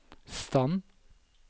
stand